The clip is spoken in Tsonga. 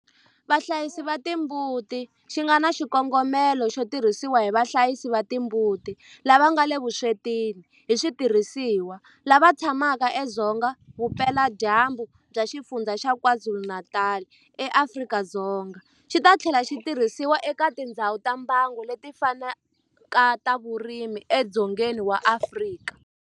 Vahlayisi va timbuti xi nga na xikongomelo xo tirhisiwa hi vahlayisi va timbuti lava nga le vuswetini hi switirhisiwa lava tshamaka edzonga vupeladyambu bya Xifundzha xa KwaZulu-Natal eAfrika-Dzonga, xi ta tlhela xi tirhisiwa eka tindhawu ta mbango leti fanaka ta vurimi edzongeni wa Afrika.